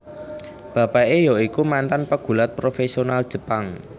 Bapake ya iku mantan pegulat profesional Jepang